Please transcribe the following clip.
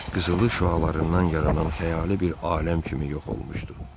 Qızılı şüalarından yaranan xəyali bir aləm kimi yox olmuşdu.